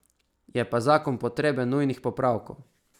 Je pa zakon potreben nujnih popravkov.